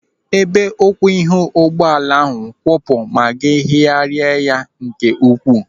Ebe ụkwụ ihu ụgbọala ahụ kwụpụ ma gị hiaria ya nke ukwuu.